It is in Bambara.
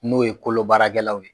N'o ye kolo baarakɛlaw ye